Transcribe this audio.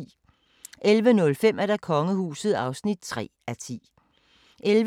03:40: Kvit eller Dobbelt (tir og tor)